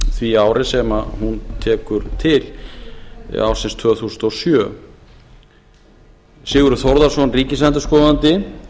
því ári sem hún tekur til eða ársins tvö þúsund og sjö sigurður þórðarson ríkisendurskoðandi